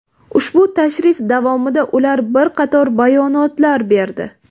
Ushbu tashrif davomida ular bir qator bayonotlar berdi.